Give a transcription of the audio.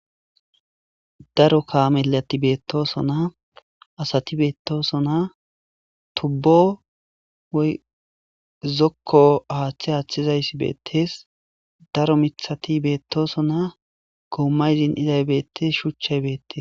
Daro kameleti betosona asati betosona tuubo woyikko haththe athizayosso bettes.daro miththati betosona ,gomayi bettes,shuchchati betosona.